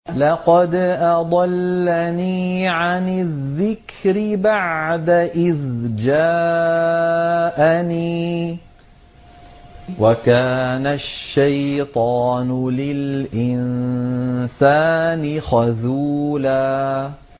لَّقَدْ أَضَلَّنِي عَنِ الذِّكْرِ بَعْدَ إِذْ جَاءَنِي ۗ وَكَانَ الشَّيْطَانُ لِلْإِنسَانِ خَذُولًا